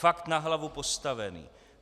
Fakt na hlavu postavené.